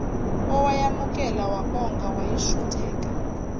owayamukela wabonga wayishutheka